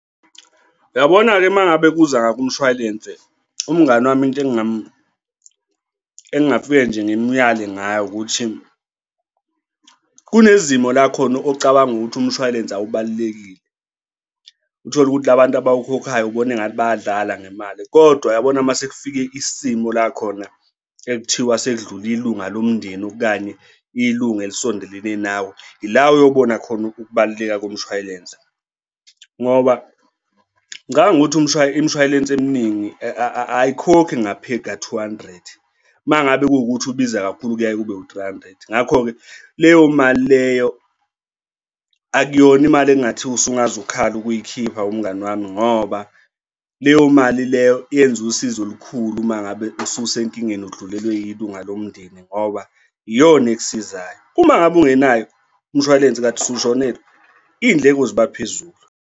Uyabona-ke uma ngabe kuza, ngakwimshwalense, umngani wami into engingafike nje ngimuyale ngayo ukuthi kunezimo la khona ocabanga ukuthi umshwalense awubalulekile. Uthole ukuthi la bantu abawukhokhayo ubona engathi bayadlala ngemali kodwa uyabona uma sekufike isimo la khona ekuthiwa sekudlule ilunga lomndeni okanye ilunga elisondelene nawe ila uyobona khona ukubaluleka komshwayelensi. Ngoba ngicabanga ukuthi imshwalense eminingi ayikhokhe ngaphezu kwa-two hundred. Uma ngabe kuwukuthi ubiza kakhulu, kuyaye kube u-three hundred. Ngakho-ke leyo mali leyo akuyona imali ekungathiwa usungaze ukhale ukuyikhipha mngani wami ngoba leyo mali leyo yenze usizo olukhulu uma ngabe ususenkingeni udlulelwe yilunga lomndeni ngoba iyona ekusizayo, uma ngabe ungenayo umshwalense kade usushonelwe iy'ndleko ziba phezulu.